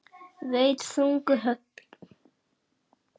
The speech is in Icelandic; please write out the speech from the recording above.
Veitt þung högg.